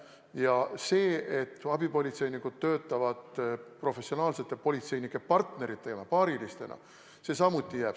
Ja see, et abipolitseinikud töötavad professionaalsete politseinike partneritena, paarilistena, samuti jääb.